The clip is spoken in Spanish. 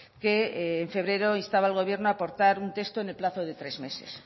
que en febrero instaba al gobierno aportar un texto en el plazo de tres meses